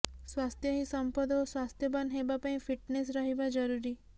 ସ୍ବାସ୍ଥ୍ୟ ହିଁ ସମ୍ପଦ ଓ ସ୍ବାସ୍ଥ୍ୟବାନ ହେବାପାଇଁ ଫିଟନେସ ରହିବା ଜରୁରୀ